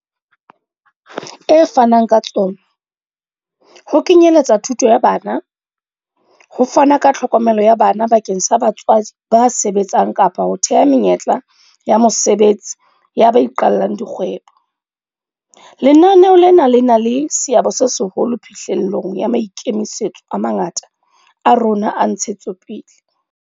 e fanang ka tsona, ho kenye letsa thuto ya bana, ho fana ka tlhokomelo ya bana bakeng sa batswadi ba sebetsang kapa ho theha menyetla ya mosebetsi ya ba iqallang di kgwebo, lenaneo lena le na le seabo se seholo phihlellong ya maikemisetso a mangata a rona a ntshetsopele.